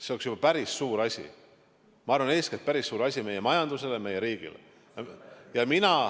See oleks juba päris suur asi, ma arvan, eeskätt päris suur asi meie majandusele, meie riigile.